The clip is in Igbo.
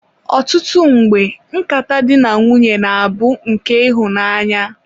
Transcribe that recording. ọtụtụ mgbe, nkata di na nwunye na-abụ nke ịhụnanya.